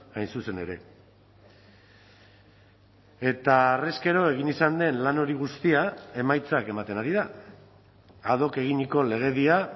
hain zuzen ere eta harrezkero egin izan den lan hori guztia emaitzak ematen ari da ad hoc eginiko legedia